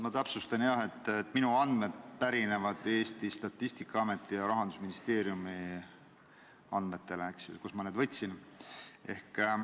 Ma täpsustan, et minu andmed pärinevad Statistikaameti ja Rahandusministeeriumi andmetest, sealt ma need võtsin.